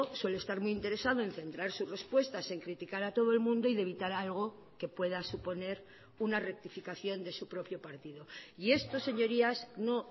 suele estar muy interesado en centrar sus respuestas en criticar a todo el mundo y de evitar algo que pueda suponer una rectificación de su propio partido y esto señorías no